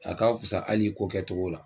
A ka fisa ali i ko kɛ togo la